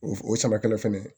O o samakɛla fɛnɛ